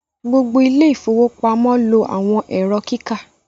gbogbo àwọn Ilé ìfowópamọ́ lo àwọn Ẹ̀rọ kíkà